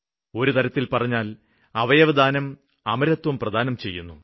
ഒരു തരത്തില് പറഞ്ഞാല് അവയവദാനം അമരത്വം പ്രദാനം ചെയ്യുന്നു